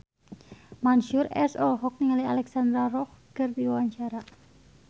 Mansyur S olohok ningali Alexandra Roach keur diwawancara